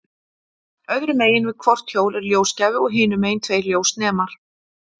Öðru megin við hvort hjól er ljósgjafi og hinu megin tveir ljósnemar.